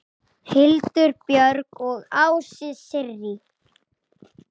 Hildur Björg og Ásta Sirrí.